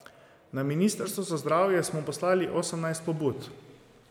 Na ministrstvo za zdravje smo poslali osemnajst pobud.